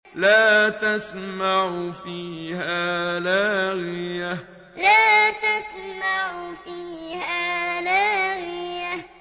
لَّا تَسْمَعُ فِيهَا لَاغِيَةً لَّا تَسْمَعُ فِيهَا لَاغِيَةً